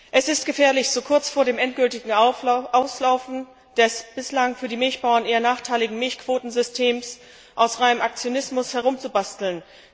Es ist gefährlich, so kurz vor dem endgültigen Auslaufen des bislang für die Milchbauern eher nachteiligen Milchquotensystems aus reinem Aktionismus herumzubasteln.